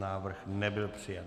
Návrh nebyl přijat.